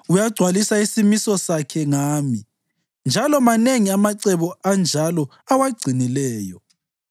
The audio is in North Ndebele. Uyagcwalisa isimiso sakhe ngami, njalo manengi amacebo anjalo awagcinileyo.